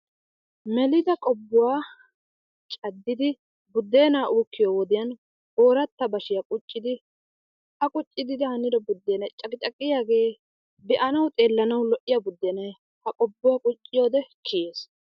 Melida qobbuwa caddidi buddeenaa uukkiyo wodiyan ooratta bashiya quccudi A quccidi banido buddeenay caqicaqiyagee be'anawu xeellanawu lo''iya buddenay ha qobbuwa qucciyode kiyees.